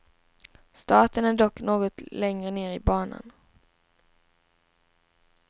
Starten är dock något längre ner i banan.